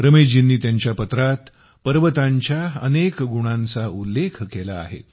रमेशजींनी त्यांच्या पत्रात पर्वतांच्या अनेक गुणांचा उल्लेख केला आहे